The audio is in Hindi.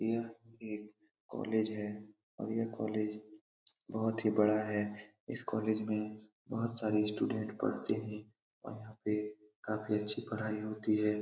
यह एक कॉलेज है कॉलेज बहुत ही बड़ा है इस कॉलेज में बहुत सारे स्टूडेंट पढ़ते हैं और यहाँ पे काफी अच्छी पढ़ाई होती है ।